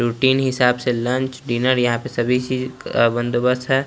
Routine हिसाब से lunch dinner या पे सभी चीज़ बंदोबस्त हैं।